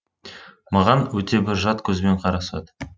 маған өте бір жат көзбен қарасады